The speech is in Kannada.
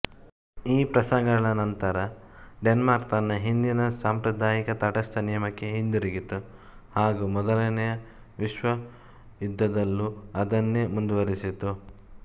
ಈ ಪ್ರಸಂಗಗಳ ನಂತರ ಡೆನ್ಮಾರ್ಕ್ ತನ್ನ ಹಿಂದಿನ ಸಾಂಪ್ರದಾಯಿಕ ತಟಸ್ಥ ನಿಯಮಕ್ಕೆ ಹಿಂದಿರುಗಿತು ಹಾಗೂ ಮೊದಲನೇ ವಿಶ್ವಯುದ್ಧದಲ್ಲೂ ಅದನ್ನೇ ಮುಂದುವರೆಸಿತು